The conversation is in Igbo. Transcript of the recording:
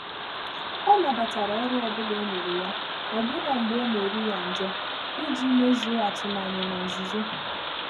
Ọ́ nàbàtàrà ọ́rụ́ ọ́ bụ́lá é nyéré, ọ́bụ́nà mgbè ọ́ nà-érí yá njọ́, ìjí mézùó àtụ́mànyà nà nzùzò.